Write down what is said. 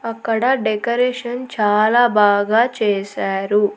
అక్కడ డెకరేషన్ చాలా బాగా చేశారు.